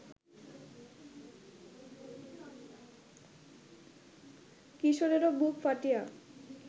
কিশোরেরও বুক ফাটিয়া